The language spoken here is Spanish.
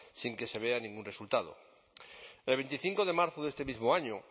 sin que se vea ningún resultado el veinticinco de marzo de este mismo año